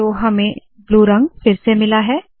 तो हमें फिर से ब्लू रंग मिला है